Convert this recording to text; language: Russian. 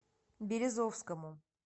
березовскому